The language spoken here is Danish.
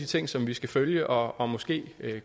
ting som vi skal følge og og måske